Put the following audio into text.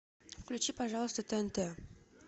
включи пожалуйста тнт